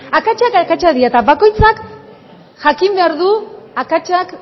akatsak akatsak dira eta bakoitzak jakin behar du akatsak